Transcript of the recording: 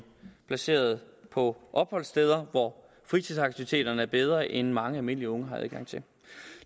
placeret på opholdssteder hvor fritidsaktiviteterne er bedre end dem mange almindelige unge har adgang til